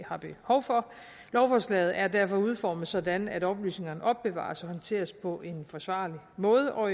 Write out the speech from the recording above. har behov for lovforslaget er derfor udformet sådan at oplysningerne opbevares og håndteres på en forsvarlig måde og